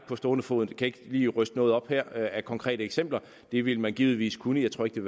på stående fod og kan ikke lige ryste noget op her af konkrete eksempler det ville man givetvis kunne jeg tror ikke det